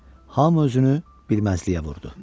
Hamı özünü bilməzliyə vurdu.